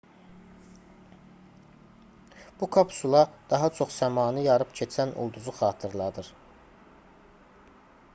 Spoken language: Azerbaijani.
bu kapsula daha çox səmanı yarıb keçən ulduzu xatırladır